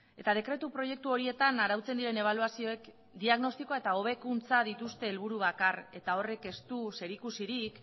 eta dekretu proiektu horietan arautzen diren ebaluazioek diagnostikoa eta hobekuntza dituzte helburu bakar eta horrek ez du zerikusirik